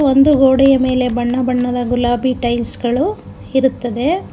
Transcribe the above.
ಒಂದು ಗೋಡೆಯ ಮೇಲೆ ಬಣ್ಣ ಬಣ್ಣದ ಗುಲಾಬಿ ಟೈಲ್ಸ್ ಗಳು ಇರುತ್ತದೆ.